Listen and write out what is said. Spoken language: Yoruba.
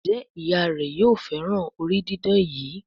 Njé Ìyá rẹ yóò féràn orí didán yí?